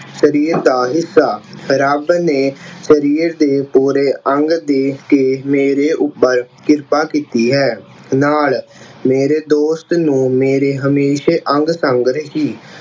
ਸਰੀਰ ਦਾ ਹਿੱਸਾ, ਰੱਬ ਨੇ ਅਹ ਸਰੀਰ ਦੇ ਪੂਰੇ ਅੰਗ ਦੇ ਕੇ ਮੇਰੇ ਉੱਪਰ ਕ੍ਰਿਪਾ ਕੀਤੀ ਹੈ ਨਾਲ, ਮੇਰੇ ਦੋਸਤ ਨੂੰ ਮੇਰੇ ਹਮੇਸ਼ਾ ਅੰਗ-ਸੰਗ ਰੱਖੀ।